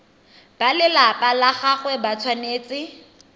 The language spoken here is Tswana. balelapa la gagwe ba tshwanetse